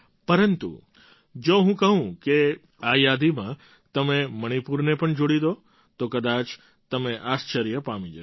પરંતુ જો હું કહું કે આ યાદીમાં તમે મણિપુરને પણ જોડી દો તો કદાચ તમે આશ્ચર્ય પામી જશો